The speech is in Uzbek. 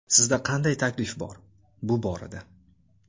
Sizda qanday taklif bor, bu borada?